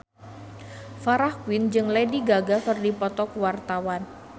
Farah Quinn jeung Lady Gaga keur dipoto ku wartawan